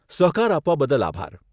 સહકાર આપવા બદલ આભાર.